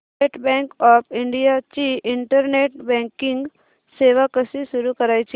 state Bank of India ची internet banking सेवा कशी सुरू करायची